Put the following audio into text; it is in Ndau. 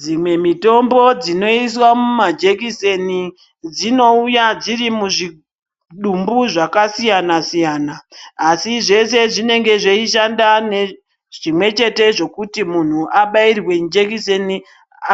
Dzimweni mitombo dzinosisa mumajekiseni dzinouya dziri muzvidumbu zvakasiyana siyana ASI zveshe zvinenge zvichishanda zvimwe chete kuti muntu abairwe jekiseni